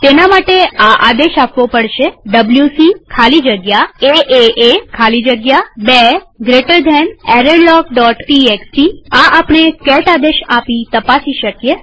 તેના માટે આ આદેશ આપવો પડશે ડબ્લ્યુસી ખાલી જગ્યા એએ ખાલી જગ્યા 2 બે જમણા ખૂણાવાળા કૌંસ errorlogટીએક્સટી આ આપણે કેટ આદેશ આપી તપાસી શકીએ